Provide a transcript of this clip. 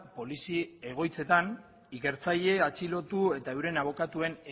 polizi egoitzetan ikertzaile atxilotu eta euren abokatuen